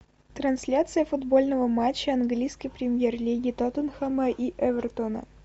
трансляция футбольного матча английской премьер лиги тоттенхэма и эвертона